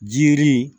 Jiri